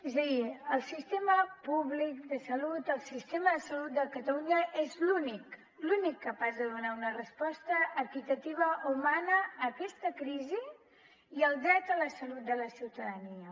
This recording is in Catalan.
és a dir el sistema públic de salut el sistema de salut de catalunya és l’únic l’únic capaç de donar una resposta equitativa humana a aquesta crisi i al dret a la salut de la ciutadania